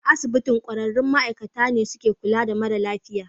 A asibitin, kwararrun ma'aikata ne suka kula da mara lafiyan